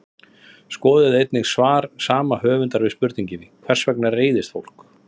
Skoðið einnig svar sama höfundar við spurningunni Hvers vegna reiðist fólk?